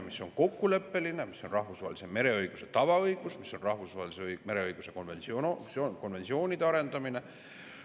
See on kokkuleppeline, see on rahvusvahelises mereõiguses tavaõigus, see tähendab ka rahvusvahelise mereõiguse konventsioonide arendamist.